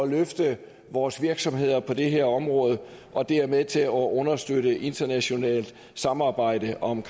løfte vores virksomheder på det her område og det er med til at understøtte internationalt samarbejde om